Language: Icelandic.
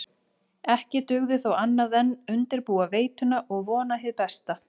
Ekki dugði þó annað en undirbúa veituna og vona hið besta.